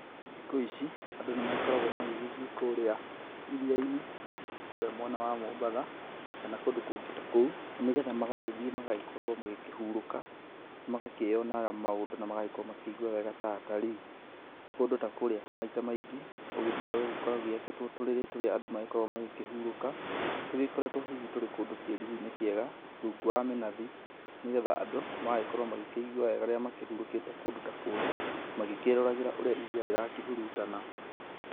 Thikũ ici, andũ nĩ magĩkoragwo magĩgĩthiĩ kũrĩa iria-inĩ, kũrĩa mwena wa Mombatha, kana kũndũ kũngĩ ta kũu, nĩgetha magagĩthiĩ magagĩkorwo magĩkĩhurũka, magakĩonaga maũndũ na magagĩkrwo makĩigwa wega ta atarii. Kũndũ ta kũrĩa maita maingĩ, ũgĩthiaga ũgagĩkora gũgĩakĩtwo tũrĩrĩ tũrĩa andũ magĩkoragwa magĩkĩhurũka, tũgĩkoretwo hihi tũrĩ kũndũ kĩruruinĩ kĩega, rungu wa mĩnathi, nĩgetha andũ, magagĩkorwo magĩkĩigua wega rĩrĩa makĩhurũkĩte kũndũ ta kũrĩa, magĩkĩroragĩra ũrĩa iria rĩrakĩhurutana.